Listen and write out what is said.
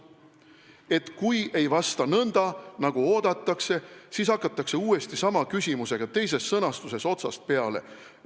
Et kui ei vasta nõnda, nagu oodatakse, siis hakatakse uuesti sama küsimusega teises sõnastuses otsast peale.